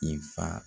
I fa